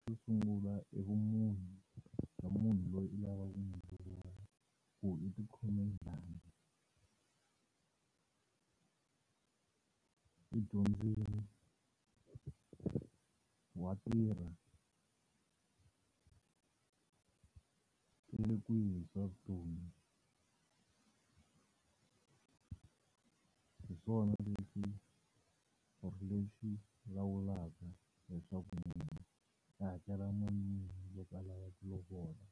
xo sungula i vumunhu bya munhu loyi u lavaka ku n'wu ku u ti khome njani u dyondzile, wa tirha, ile kwihi hi swa vutomi hi swona leswi or lexi lawulaka leswaku munhu u ta hakela mali muni loko a lava ku lovola.